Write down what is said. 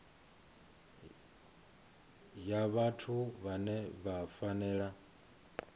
ya vhathu vhane vha fanela